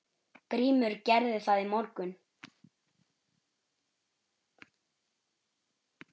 GRÍMUR: Gerði það í morgun!